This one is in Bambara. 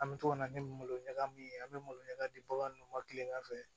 An bɛ to ka na ni malo ɲaga min ye an bɛ malo ɲagami di bagan ninnu ma tilegan fɛ